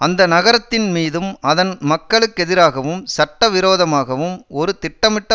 அந்த நகரத்தின் மீதும் அதன் மக்களுக்கெதிராகவும் சட்ட விரோதமாகவும் ஒரு திட்டமிட்ட